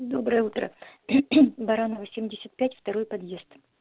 доброе утро баранова семьдесят пять второй подъезд